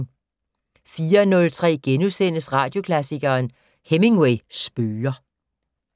04:03: Radioklassikeren: Hemingway spøger *